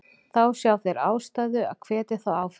Þá sjá þeir ástæðu að hvetja þá áfram.